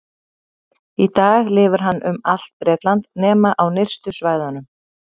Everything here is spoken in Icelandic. Í dag lifir hann um allt Bretland nema á nyrstu svæðunum.